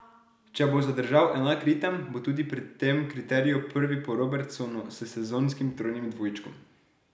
Če bo zadržal enak ritem, bo tudi pri tem kriteriju prvi po Robertsonu s sezonskim trojnim dvojčkom.